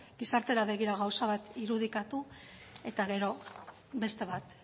gizartera begira gauza bat irudikatu eta gero beste bat